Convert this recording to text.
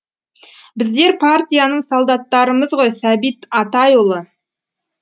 біздер партияның солдаттарымыз ғой сәбит атайұлы